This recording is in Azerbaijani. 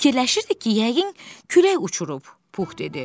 Fikirləşirdik ki, yəqin külək uçurub, Pux dedi.